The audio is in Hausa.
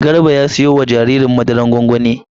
Garba ya siyo ma jaririn madara gwangwani uku.